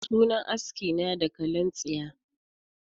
Sunan aski na dakalin tsiya